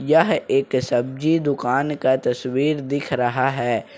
यह एक सब्जी दुकान का तस्वीर दिख रहा है।